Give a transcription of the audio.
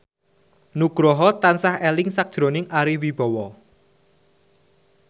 Nugroho tansah eling sakjroning Ari Wibowo